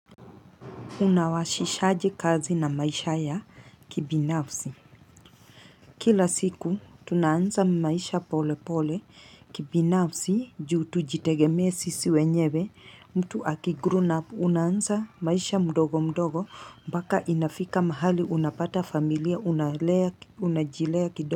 Unawashishaji kazi na maisha ya kibinafsi. Kila siku, tunaanza maisha pole pole kibinafsi, juu tujitegemee sisi wenyewe, mtu akigruna, unanza maisha mdogo mdogo, mbaka inafika mahali, unapata familia, unajilea kidogo.